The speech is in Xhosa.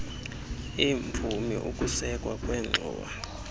eemvumi ukusekwa kwengxowa